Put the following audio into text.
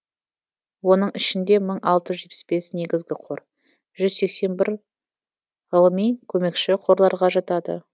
оның ішінде мың алты жүз жетпіс бес негізгі қор жүз сексен бір ғылыми көмекші қорларға жатады